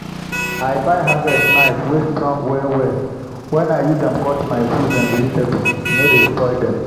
i buy harvest knife wey strong well well. when i use am cut my fruits and vegetable e no dey spoil them.